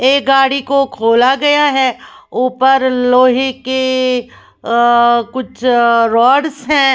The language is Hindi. एक गाडी को खोला गया हैं ऊपर लोहे की इ इ अ कुछ अ राड्स हैं।